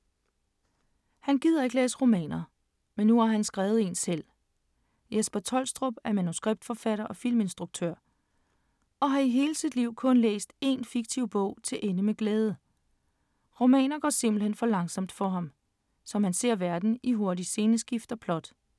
Han gider ikke læse romaner, men nu har han skrevet en selv. Jesper Troelstrup er manuskriptforfatter og filminstruktør og har i hele sit liv kun læst én fiktiv bog til ende med glæde. Romaner går simpelthen for langsomt for ham, som ser verden i hurtige sceneskift og plot.